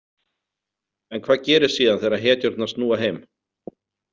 En hvað gerist síðan þegar hetjurnar snúa heim?